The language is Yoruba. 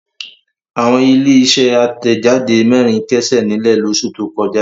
Àwọn ilé-iṣẹ́ àtẹ̀jáde mẹ́rin kẹ́sẹ̀ nílẹ̀ lóṣù tó kọjá.